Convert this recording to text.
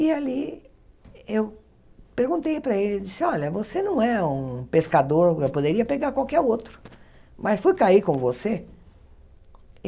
E ali eu perguntei para ele, disse, olha, você não é um pescador eu poderia pegar qualquer outro, mas fui cair com você?